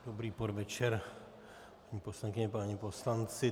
Dobrý podvečer, paní poslankyně, páni poslanci.